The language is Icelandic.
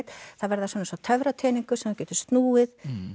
þær verða eins og töfrateningur sem þú getur snúið